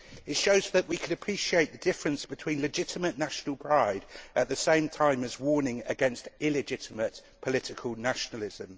It shows that we can appreciate the difference between legitimate national pride at the same time as warning against illegitimate political nationalism.